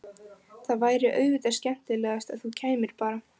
Það væri auðvitað skemmtilegast að þú kæmir bara!